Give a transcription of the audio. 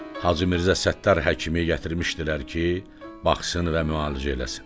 Hacı Mirzə Səttar həkimi gətirmişdilər ki, baxsın və müalicə eləsin.